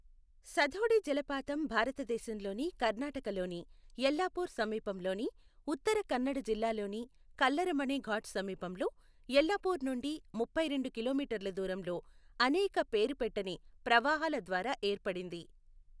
సథోడి జలపాతం భారతదేశంలోని కర్ణాటకలోని యెల్లాపూర్ సమీపంలోని ఉత్తర కన్నడ జిల్లాలోని కల్లరమణే ఘాట్ సమీపంలో, యెల్లాపూర్ నుండి ముప్పైరెండు కిలోమీటర్ల దూరంలో అనేక పేరు పెట్టని ప్రవాహాల ద్వారా ఏర్పడింది.